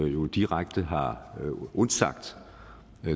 jo direkte har undsagt